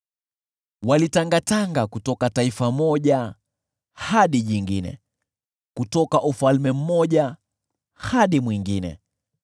walitangatanga kutoka taifa moja hadi jingine, kutoka ufalme mmoja hadi mwingine.